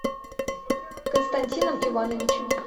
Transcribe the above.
константином ивановичем